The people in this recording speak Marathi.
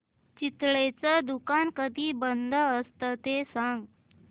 चितळेंचं दुकान कधी बंद असतं ते सांग